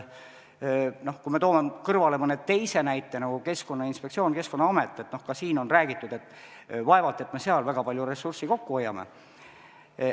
Kui me toome kõrvale mõne teise näite, nagu Keskkonnainspektsioon ja Keskkonnaamet, siis ka siin on räägitud, et vaevalt me seal väga palju ressurssi kokku hoiame.